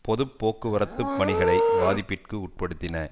பொது போக்குவரத்து பணிகளை பாதிப்பிற்கு உட்படுத்தின